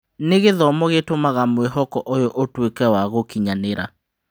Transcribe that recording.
Nĩ gĩthomo gĩtũmaga mwĩhoko ũyũ ũtuĩke wa gũkinyanĩra.